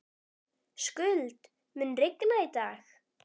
Skuld, mun rigna í dag?